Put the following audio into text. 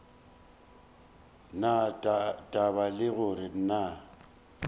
na taba le gore na